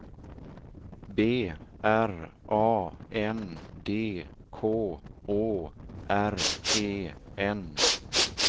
B R A N D K Å R E N